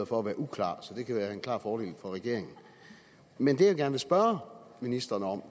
for at være uklar så det kan være en klar fordel for regeringen men det jeg gerne vil spørge ministeren om